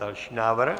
Další návrh?